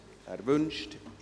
– Er wünscht es.